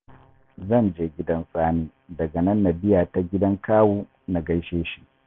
Zan je gidan Sani, daga nan na biya ta gidan Kawu na gaishe shi